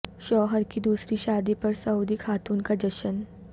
شوہر کی دوسری شادی پر سعودی خاتون کا جشن